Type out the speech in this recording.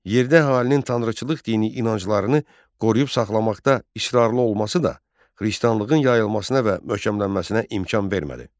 Yerdə əhalinin tanrıçılıq dini inanclarını qoruyub saxlamaqda israrlı olması da xristianlığın yayılmasına və möhkəmlənməsinə imkan vermədi.